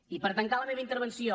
i per tancar la meva intervenció